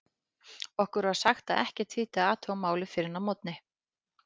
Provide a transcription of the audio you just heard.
Okkur var sagt að ekkert þýddi að athuga málið fyrr en að morgni.